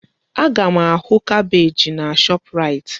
Aga m ahụ kabeeji na Shọpraịt.